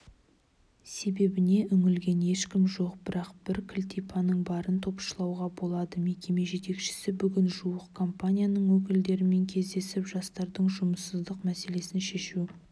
себебіне үңілген ешкім жоқ бірақ бір кілтипанның барын топшылауға болады мекеме жетекшісі бүгін жуық компанияның өкілдерімен кездесіп жастардың жұмыссыздық мәселесін шешу